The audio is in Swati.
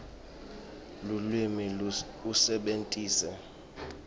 lulwimi usebentise